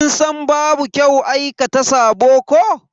Kin san babu kyau aikata sabo ko?